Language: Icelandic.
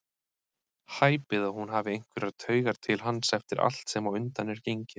Hæpið að hún hafi einhverjar taugar til hans eftir allt sem á undan er gengið.